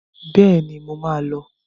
Bẹ́ẹ̀ni, mo má a lọ.